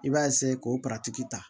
I b'a k'o ta